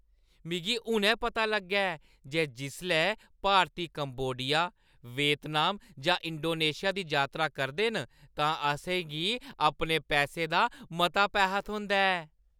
मिगी हुनै पता लग्गा ऐ जे जिसलै भारती कंबोडिया, वियतनाम जां इंडोनेशिया दी यात्रा करदे न तां असें गी अपने पैसें दा मता पैहा थ्होंदा ऐ।